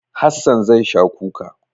Hassan zai sha kuka.